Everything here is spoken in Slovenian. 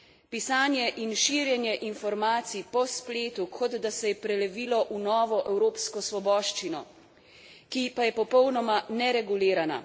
Pisanje in širjenje informacij po spletu, kot da se je prelevilo v novo evropsko svoboščino, ki pa je popolnoma neregulirana.